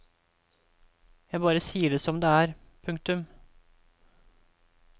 Jeg bare sier det som det er. punktum